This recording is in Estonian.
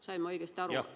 Sain ma õigesti aru?